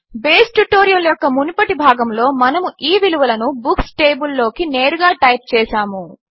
base tutorial యొక్క మునుపటి భాగములో మనము ఈ విలువలను బుక్స్ టేబుల్ లోకి నేరుగా టైప్ చేసాము